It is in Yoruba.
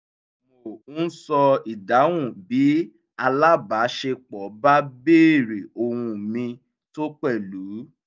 mo ń ṣọ̀ ìdáhùn bí alábaṣepọ̀ bá béèrè ohun mi tó pẹ̀lú